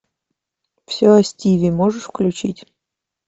все о стиве можешь включить